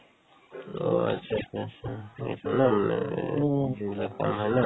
অ, atcha atcha উম শুনিছো ন মানে যিবিলাক ন